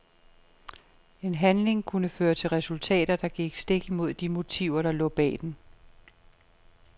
En handling kunne føre til resultater, der gik stik imod de motiver der lå bag den.